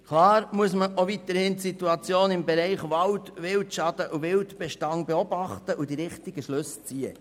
Klar, muss man auch weiterhin aus der Situation im Bereich Wald, Wildschaden und Wildbestand die richtigen Schlüsse ziehen.